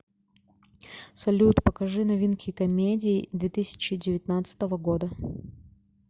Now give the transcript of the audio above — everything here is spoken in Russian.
салют покажи новинки комедий две тысячи девятнадцатого года